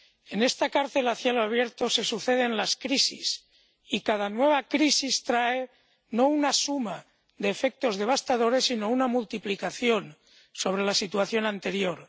En esta cárcel a cielo abierto se suceden las crisis, y cada nueva crisis trae no una suma de efectos devastadores, sino una multiplicación sobre la situación anterior.